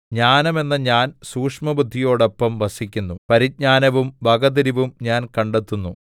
ജ്ഞാനം എന്ന ഞാൻ സൂക്ഷ്മബുദ്ധിയോടൊപ്പം വസിക്കുന്നു പരിജ്ഞാനവും വകതിരിവും ഞാൻ കണ്ടെത്തുന്നു